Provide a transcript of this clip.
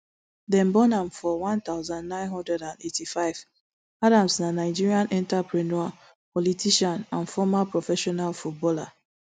dem born am for one thousand, nine hundred and eighty-five adams na nigerian entrepreneur politician and former professional footballer